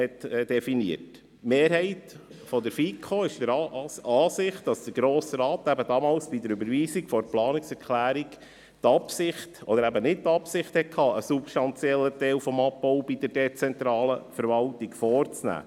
Die Mehrheit der FiKo ist der Ansicht, dass der Grosse Rat damals bei der Überweisung der Planungserklärung eben nicht die Absicht hatte, einen substanziellen Abbau bei der dezentralen Verwaltung vorzunehmen.